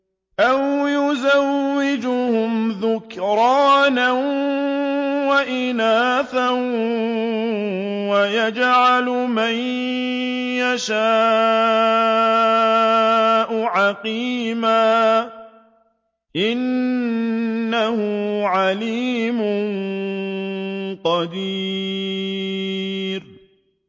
أَوْ يُزَوِّجُهُمْ ذُكْرَانًا وَإِنَاثًا ۖ وَيَجْعَلُ مَن يَشَاءُ عَقِيمًا ۚ إِنَّهُ عَلِيمٌ قَدِيرٌ